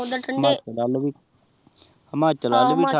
ਓਹ੍ਦਰ ਠੰਡੇ